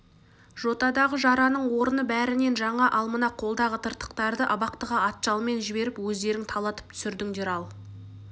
жотадағы жараның орны бәрінен жаңа ал мына қолдағы тыртықтарды абақтыға атжалман жіберіп өздерің талатып түсірдіндер ал